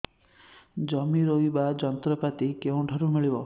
ଜମି ରୋଇବା ଯନ୍ତ୍ରପାତି କେଉଁଠାରୁ ମିଳିବ